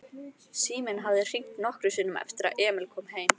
Síminn hafði hringt nokkrum sinnum eftir að Emil kom heim.